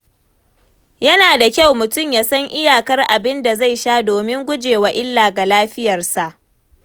Yana da kyau mutum ya san iyakar abin da zai sha domin gujewa illa ga lafiyarsa.